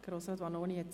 Er hat das Wort.